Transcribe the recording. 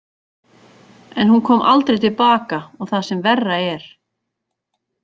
En hún kom aldrei til baka og það sem verra er.